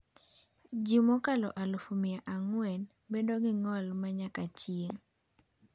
Ji mokalo aluf mia ang'wen bedo gi ng'ol ma nyaka chieng’.